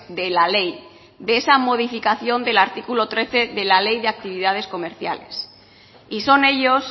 de la ley de esa modificación del artículo trece de la ley de actividades comerciales y son ellos